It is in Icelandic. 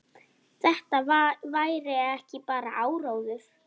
Þetta væri ekki bara áróður.